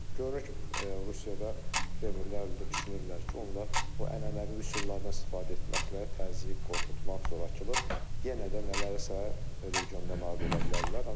Görünür ki, Rusiyada Kremlin əlində düşünürlər ki, onlar o ənənəvi üsullardan istifadə etməklə təzyiq, qorxutmaq, zorakılıq yenə də nələrəsə regionda nail ola bilərlər.